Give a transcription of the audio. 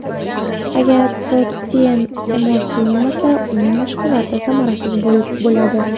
Agar protein iste’mol qilmasa uning mashg‘uloti samarasiz bo‘ladi.